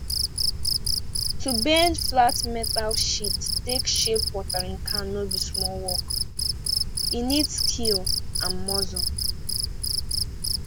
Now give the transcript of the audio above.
to bend flat metal sheet take shape watering can no be small work e need skill and muscle